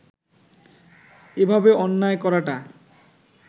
এভাবে অন্যায় করাটা